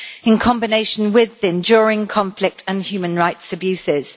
in combination with the enduring conflict and human rights abuses.